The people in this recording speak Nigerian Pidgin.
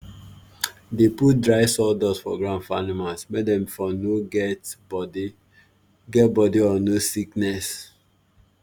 dey put dry sawdust for ground for animals make dem for no get body get body or nose sickness